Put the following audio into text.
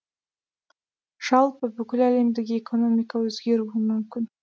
жалпы бүкіләлемдік экономика өзгеруі мүмкін